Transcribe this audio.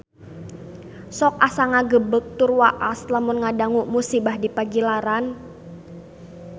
Sok asa ngagebeg tur waas lamun ngadangu musibah di Pagilaran